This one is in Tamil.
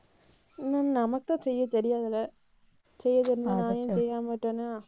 இன்னும் நமக்குத்தான் செய்ய தெரியாதில்ல. செய்ய தெரிஞ்சா நான் ஏன் செய்யாம விட்டேனா